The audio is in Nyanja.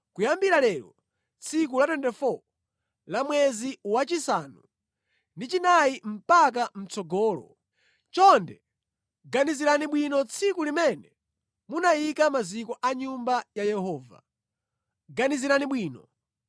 ‘Kuyambira lero tsiku la 24 la mwezi wachisanu ndi chinayi mpaka mʼtsogolo, chonde ganizirani bwino tsiku limene munayika maziko a nyumba ya Yehova. Ganizirani bwino.